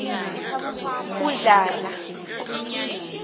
udladla